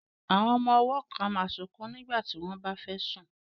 Àwọn ọmọ ọwọ́ kan máa sunkún nígbà tí wọ́n bá fẹ́ sùn